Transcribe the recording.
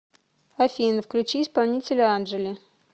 афина включи исполнителя анжели